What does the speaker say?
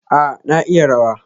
A, na iya rawa.